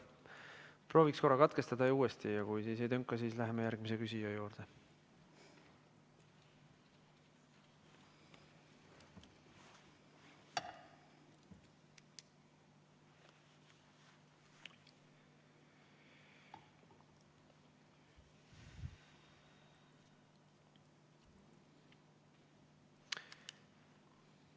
Proovime korra katkestada ja siis uuesti ühendust võtta, kui ka siis ei tönka, siis läheme järgmise küsija juurde.